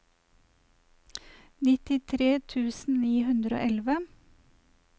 nittitre tusen ni hundre og elleve